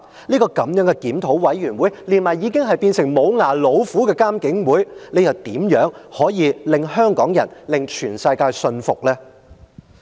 這個檢討委員會，加上已是"無牙老虎"的監警會，試問如何令香港人以至全世界信服呢？